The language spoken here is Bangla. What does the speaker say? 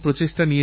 এটি একটি পরম্পরা